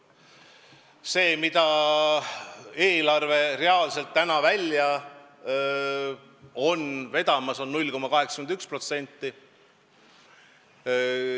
See, mille eelarve reaalselt praegu välja veab, on 0,81%.